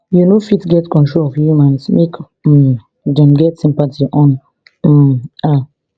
you no fit get control of humans make um dem get sympathy on um her